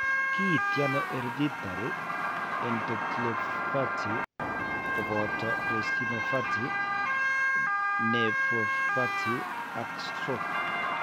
Kiinti ano hereditary endotheliopathy koboto retinopathy, nephropathy ak stroke ?